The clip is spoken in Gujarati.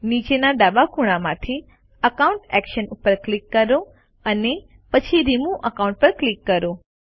નીચેના ડાબા ખૂણામાંથી અકાઉન્ટ એક્શન્સ પર ક્લિક કરો અને પછી રિમૂવ અકાઉન્ટ પર ક્લિક કરો